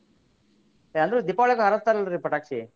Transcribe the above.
ಅಂದ್ರೆ ದೀಪಾವಳಿಗ ಹಾರಸ್ತಾರ್ರೀ ಪಟಾಕ್ಷಿ.